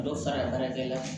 Dɔ fara baarakɛla kan